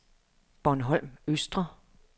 Bornholm Østre